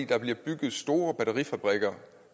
der bliver bygget store batterifabrikker